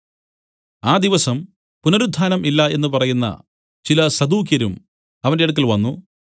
ആ ദിവസം പുനരുത്ഥാനം ഇല്ല എന്നു പറയുന്ന ചില സദൂക്യരും അവന്റെ അടുക്കൽ വന്നു